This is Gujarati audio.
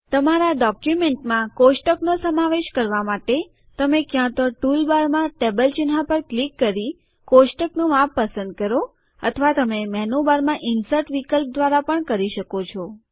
તમારા ડોક્યુમેન્ટમાં કોષ્ટકનો સમાવેશ કરવા માટે તમે ક્યાં તો ટુલબારમાં ટેબલ ચિહ્ન પર ક્લિક કરી કોષ્ટકનું માપ પસંદ કરો અથવા તમે મેનુબારમાં ઇન્સર્ટ વિકલ્પ દ્વારા પણ કરી શકો છો